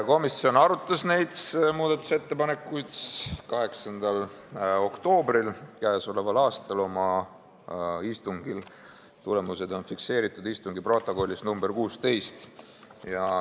Komisjon arutas neid oma k.a 8. oktoobri istungil, tulemused on fikseeritud istungi protokollis nr 16.